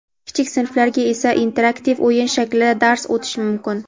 kichik sinflarga esa interaktiv o‘yin shaklida dars o‘tish mumkin.